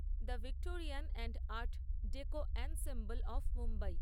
the Victorian and art deco ensemble of Mumbai